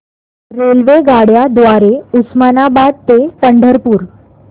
रेल्वेगाड्यां द्वारे उस्मानाबाद ते पंढरपूर